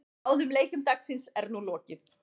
Báðum leikjum dagsins er nú lokið.